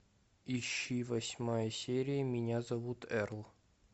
ищи восьмая серия меня зовут эрл